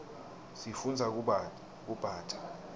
sifundza kubata